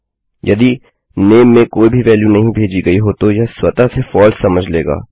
यदि नाम में कोई भी वेल्यू नहीं भेजी गई हो तो यह स्वतः से फलसे समझ लेगा